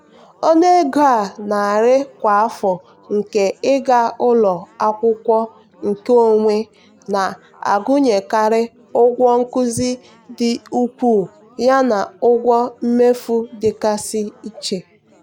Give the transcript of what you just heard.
ọnụ ego a na-eri kwa afọ nke ịga ụlọ akwụkwọ nkeonwe na-agụnyekarị ụgwọ nkuzi dị ukwuu yana ụgwọ mmefu dịgasị iche.